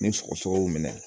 Ni sɔgɔsɔgɔ minɛ